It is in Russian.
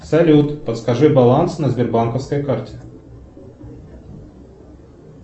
салют подскажи баланс на сбербанковской карте